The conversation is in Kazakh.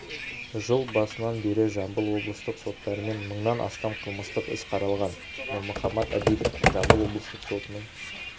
жыл басынан бері жамбыл облыстық соттарымен мыңнан астам қылмыстық іс қаралған нұрмұхаммат абидов жамбыл облыстық сотының